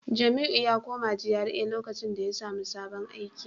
Jamiu ya koma GRA lokacin da ya samu sabon aiki